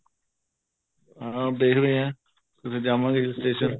ਹਾਂ ਦੇਖਦੇ ਆ ਕਿਤੇ ਜਾਵਾਂਗੇ hill station